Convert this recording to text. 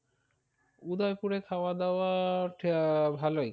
উদয়পুরে খাওয়া দাওয়া টা আহ ভালোই।